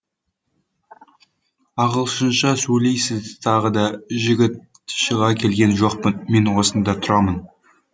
ағылшынша сөйлейсіз тағы да жігіт шыға келген жоқпын мен осында тұрамын